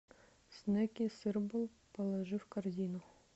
снэки сырболл положи в корзину